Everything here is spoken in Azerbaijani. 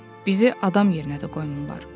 Bizi adam yerinə də qoymurlar.